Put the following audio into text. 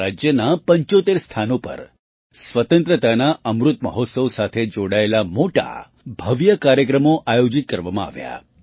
તેમાં રાજ્યનાં ૭૫ સ્થાનો પર સ્વતંત્રતાના અમૃત મહોત્સવ સાથે જોડાયેલા મોટા ભવ્ય કાર્યક્રમો આયોજિત કરવામાં આવ્યા